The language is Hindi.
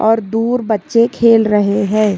और दूर बच्चे खेल रहे है।